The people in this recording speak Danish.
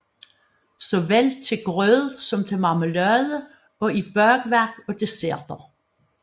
Såvel til grød som til marmelade og i bagværk og desserter